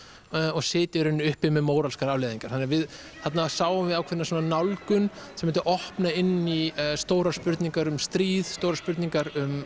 og sitja í raun uppi með móralskar afleiðingar þannig að þarna sáum við ákveðna nálgun sem myndi opna inn í stórar spurningar um stríð stórar spurningar um